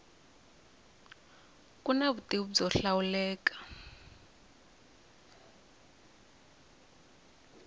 ku na vutivi byo hlawuleka